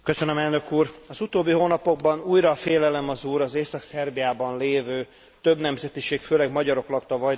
Az utóbbi hónapokban újra a félelem az úr az Észak Szerbiában lévő, több nemzetiség főleg magyarok lakta Vajdaságban.